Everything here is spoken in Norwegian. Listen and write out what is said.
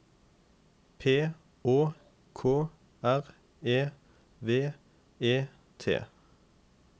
P Å K R E V E T